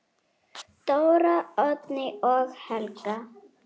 Dóra, Oddný og Helga.